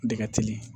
Dɛgɛli